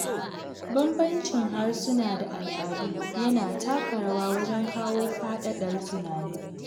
Bambancin harsuna da al’adu yana taka rawa wajen kawo faɗaɗar tunani.